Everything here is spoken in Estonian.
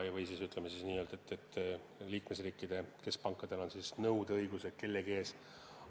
Või siis ütleme nii, et liikmesriikide keskpankadel on nõudeõigused kellegi ees.